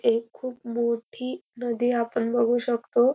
एक खूप मोठी नदी आपण बघू शकतो.